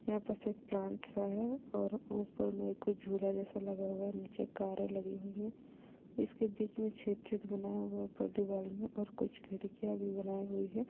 यहाँ पर सिर्फ प्लांट्ससा हैं और ऊपर में कुछ झूला जैसा लगा हुआ हैं निचे कारे लगी हुई हैं इसके बिच मैं छेद छत बनाया हुआ हैं ऊपर दीवार मैं और कुछ खिड़किया भी बनाई हुई हैं।